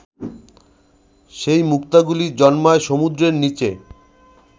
সেই মুক্তাগুলি জন্মায় সমুদ্রের নিচে